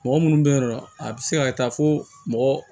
Mɔgɔ munnu be yen nɔ a bi se ka kɛ tan fo mɔgɔ